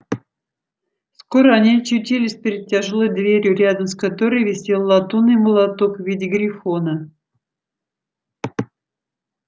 скоро они очутились перед тяжёлой дверью рядом с которой висел латунный молоток в виде грифона